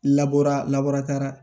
Labaara